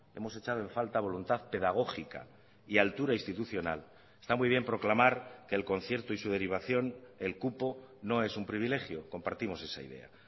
hemos echado en falta voluntad pedagógica y altura institucional está muy bien proclamar que el concierto y su derivación el cupo no es un privilegio compartimos esa idea